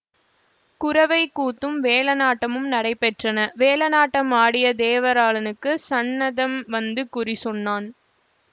குரவைக் கூத்தும் வேலனாட்டமும் நடைபெற்றன வேலனாட்டம் ஆடிய தேவராளனுக்குச் சந்நதம் வந்து குறி சொன்னான்